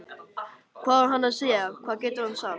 Hvað á hann að segja, hvað getur hann sagt?